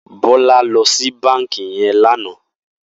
Bola lò si bànkí yèn lànã